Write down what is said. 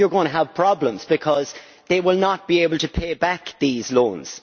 You are going to have problems because they will not be able to pay back these loans.